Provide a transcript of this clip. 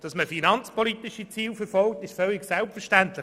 Dass man dabei finanzpolitische Ziele verfolgt, ist selbstverständlich.